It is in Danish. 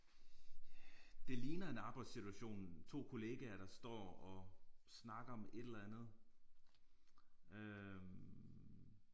Det ligner en arbejdssituation 2 kollegaer der står og snakker om et eller andet øh